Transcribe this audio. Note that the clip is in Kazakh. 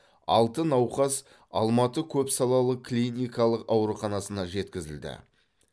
алты науқас алматы көпсалалы клиникалық ауруханасына жеткізілді